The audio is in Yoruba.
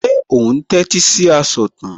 Ṣé o tẹ́tí sí asọ̀tàn?